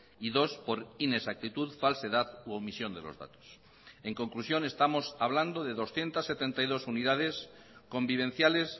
y dos por inexactitud falsedad u omisión de los datos en conclusión estamos hablando de doscientos setenta y dos unidades convivenciales